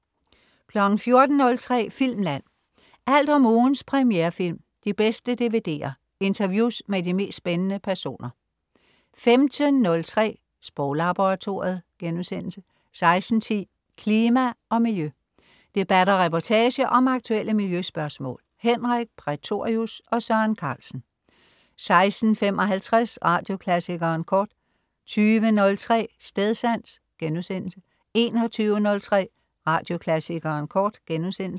14.03 Filmland. Alt om ugens premierefilm, de bedste DVD'er, interviews med de mest spændende personer 15.03 Sproglaboratoriet* 16.10 Klima og Miljø. Debat og reportage om aktuelle miljøspørgsmål. Henrik Prætorius og Søren Carlsen 16.55 Radioklassikeren Kort 20.03 Stedsans* 21.03 Radioklassikeren Kort*